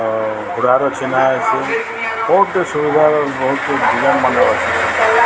ଆଁ ଉଡାନ୍ ଅଛି ନା ଏଠି ବହୁତ୍ ସୁବିଧା ର ବହୁତ ପିଲାମାନେ ଅଛନ୍ତି।